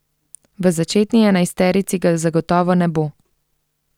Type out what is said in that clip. V začetni enajsterici ga zagotovo ne bo.